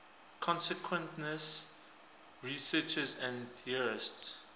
consciousness researchers and theorists